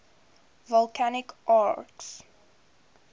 volcanic arcs